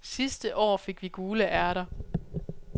Sidste år fik vi gule ærter.